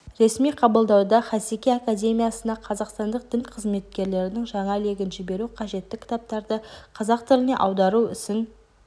ресми қабылдауда хасеки академиясына қазақстандық дін қызметкерлерінің жаңа легін жіберу қажетті кітаптарды қазақ тіліне аудару ісін